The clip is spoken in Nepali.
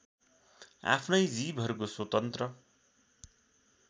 आफ्नै जीवहरूको स्वतन्त्र